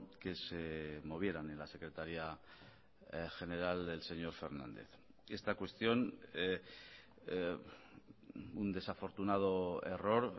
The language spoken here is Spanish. que se movieran en la secretaría general del señor fernández esta cuestión un desafortunado error